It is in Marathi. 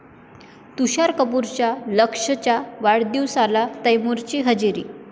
तुषार कपूरच्या लक्ष्यच्या वाढदिवसाला तैमुरची हजेरी